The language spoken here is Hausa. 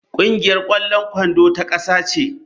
Kungiyar kwallon kwando ta kasa ce.